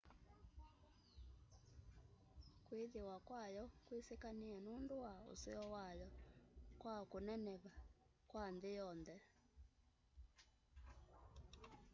kwĩthĩwa kwayo kwĩsĩkanĩe nũndũ wa useo wayo kwa kũneneva kwa nthĩ yonthe